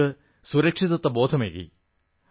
നമുക്ക് സുരക്ഷിതത്വബോധമേകി